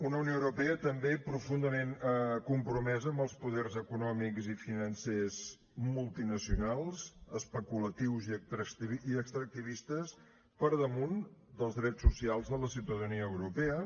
una unió europea també profundament compromesa amb els poders econòmics i financers multinacionals especulatius i extractivistes per damunt dels drets socials de la ciutadania europea